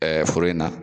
foro in na